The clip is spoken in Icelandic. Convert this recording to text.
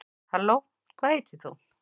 halló hvað heitir þú